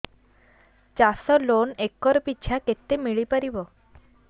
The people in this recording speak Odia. ଚାଷ ଲୋନ୍ ଏକର୍ ପିଛା କେତେ ମିଳି ପାରିବ